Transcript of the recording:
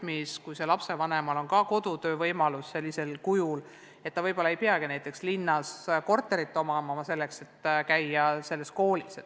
Eriti siis, kui lapsevanemal on kodus töötamise võimalus, nii et ta võib-olla ei peagi näiteks linnas korterit omama, et laps saaks käia selles koolis.